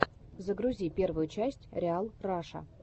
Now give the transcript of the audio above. загрузи первую часть риал раша